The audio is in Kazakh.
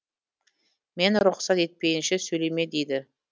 мен рұқсат етпейінше сөйлеме дейді